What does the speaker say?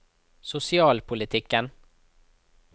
sosialpolitikken